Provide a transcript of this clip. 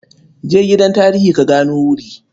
Je gidan tarihi ka gano wuri.